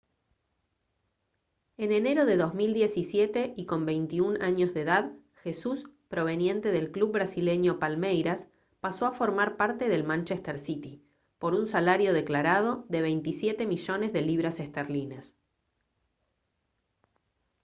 en enero de 2017 y con 21 años de edad jesús proveniente del club brasileño palmeiras pasó a formar parte del manchester city por un salario declarado de 27 millones de libras esterlinas